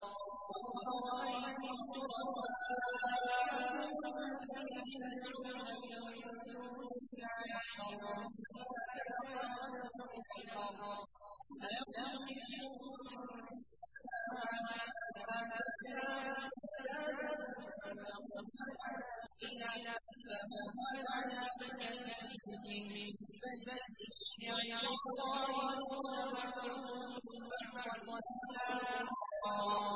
قُلْ أَرَأَيْتُمْ شُرَكَاءَكُمُ الَّذِينَ تَدْعُونَ مِن دُونِ اللَّهِ أَرُونِي مَاذَا خَلَقُوا مِنَ الْأَرْضِ أَمْ لَهُمْ شِرْكٌ فِي السَّمَاوَاتِ أَمْ آتَيْنَاهُمْ كِتَابًا فَهُمْ عَلَىٰ بَيِّنَتٍ مِّنْهُ ۚ بَلْ إِن يَعِدُ الظَّالِمُونَ بَعْضُهُم بَعْضًا إِلَّا غُرُورًا